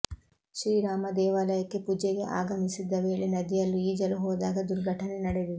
ಶ್ರೀರಾಮ ದೇವಾಲಯಕ್ಕೆ ಪುಜೆಗೆ ಆಗಮಿಸದ್ದ ವೇಳೆ ನದಿಯಲ್ಲಿ ಈಜಲು ಹೋದಾಗ ದುರ್ಘಟನೆ ನಡೆದಿದೆ